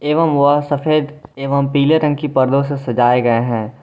एवं वह सफेद एवं पीले रंग की पर्दो से सजाए गए हैं।